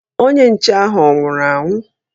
Onye nche ahụ ọ nwụrụ anwụ?